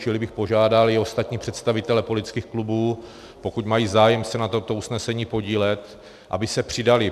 Čili bych požádal i ostatní představitele politických klubů, pokud mají zájem se na tomto usnesení podílet, aby se přidali.